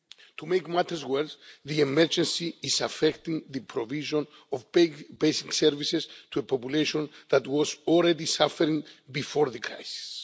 To make matters worse, the emergency is affecting the provision of basic services to a population that was already suffering before the crisis.